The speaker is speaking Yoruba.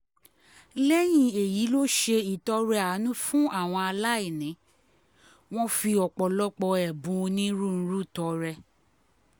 lẹ́yìn èyí ló ṣe ìtọrẹ àánú fáwọn aláìní wọn fi ọ̀pọ̀lọpọ̀ ẹ̀bùn onírúurú tọrẹ